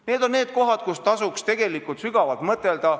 Need on teemad, mille üle tasuks sügavalt mõtelda.